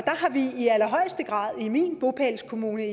har vi i allerhøjeste grad i min bopælskommune